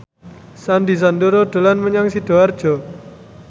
Sandy Sandoro dolan menyang Sidoarjo